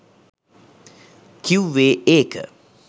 කිව්වේ ඒක